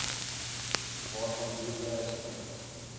waarvan boerdery gebruik